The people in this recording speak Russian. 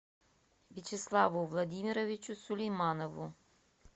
вячеславу владимировичу сулейманову